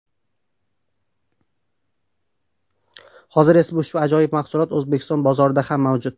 Hozir esa ushbu ajoyib mahsulot O‘zbekiston bozorida ham mavjud.